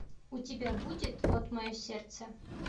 у тебя будет вот мое сердце